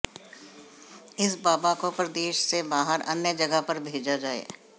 इस बाबा को प्रदेश से बाहर अन्य जगह पर भेजा जाए